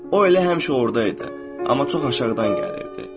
O elə həmişə orda idi, amma çox aşağıdan gəlirdi.